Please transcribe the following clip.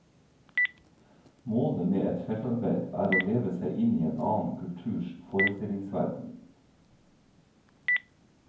Målet med et feltarbeid er å leve seg inn i en annen kulturs forestillingsverden.